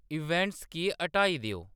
events गी हटाई देओ